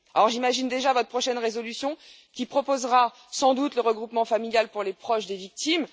J'imagine déjà votre prochaine résolution qui proposera sans doute le regroupement familial pour les proches des victimes.